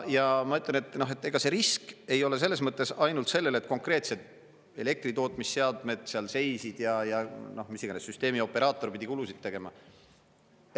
Ja ma ütlen, et see risk ei ole selles mõttes ainult selles, et konkreetselt elektritootmisseadmed seal seisid ja mis iganes süsteemioperaator pidi kulusid tegema.